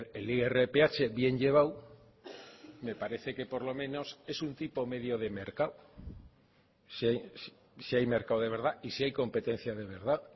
el irph bien llevado me parece que por lo menos es un tipo medio de mercado si hay mercado de verdad y si hay competencia de verdad